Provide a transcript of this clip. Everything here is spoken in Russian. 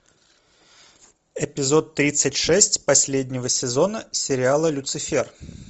эпизод тридцать шесть последнего сезона сериала люцифер